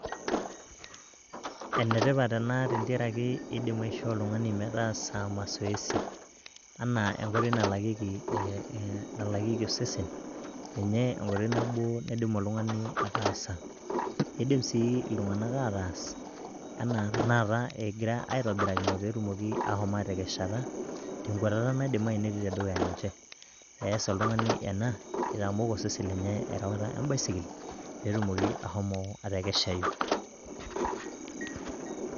Ene tipat ena tentiaraki indim aishoo oltungani metaasa masoesi anaa enkoitoi nalakieki osesen, ninye enkoitoi nabo naidim oltung'ani ataasa. Idim sii iltung'ana ataas anaa tenakata egira aitobirakino meshomoito aatekeshata, tenkuatata naidimayu netii tedukya ninche, ees oltung'ani ena aitamok osesen lenye enkwatata embaisikil pee etumoki ashomo atekeshayu.